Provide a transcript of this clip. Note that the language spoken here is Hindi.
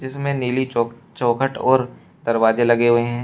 इसमें नीली चौ चौखट और दरवाजे लगे हुए हैं।